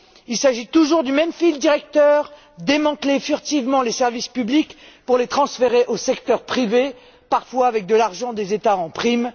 Il s'agit toujours du même fil conducteur démanteler furtivement les services publics pour les transférer au secteur privé, parfois avec l'argent des États en prime.